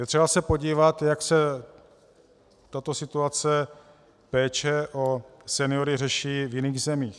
Je třeba se podívat, jak se tato situace péče o seniory řeší v jiných zemích.